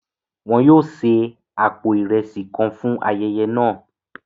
Wón yóò se apó iresi kàn fún ayẹyẹ náà